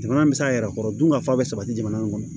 Jamana bɛ se a yɛrɛ kɔrɔ dun ka fa bɛ sabati jamana in kɔnɔ